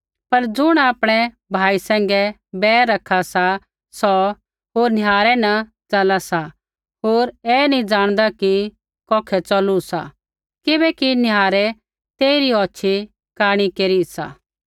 पर ज़ुण आपणै भाई सैंघै बैर रखा सा सौ निहारै न सा होर निहारै न च़ला सा होर ऐ नी ज़ाँणदा कि कौखै च़ौलू सा किबैकि निहारै तेइरी औछ़ी कांणी केरी सी